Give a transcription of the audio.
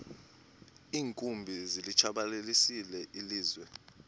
iinkumbi zilitshabalalisile ilizwe